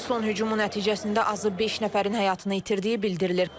İranın son hücumu nəticəsində azı beş nəfərin həyatını itirdiyi bildirilir.